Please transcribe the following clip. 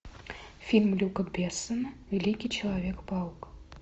фильм люка бессона великий человек паук